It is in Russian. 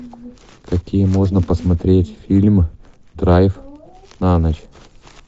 какие можно посмотреть фильмы драйв на ночь